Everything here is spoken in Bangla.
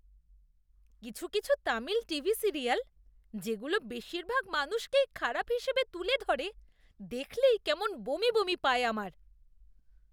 কিছু কিছু তামিল টিভি সিরিয়াল যেগুলো বেশিরভাগ মানুষকেই খারাপ হিসাবে তুলে ধরে, দেখলেই কেমন বমি বমি পায় আমার।